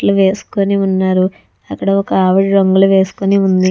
వేసుకుని ఉన్నారు అక్కడ ఒకావిడ రంగులు వేసుకుని ఉంది.